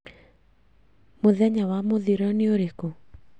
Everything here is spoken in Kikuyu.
Mũthenya wa mũthiro nĩ ũrũkũ